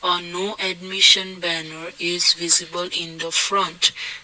a no admission banner is visible in the front.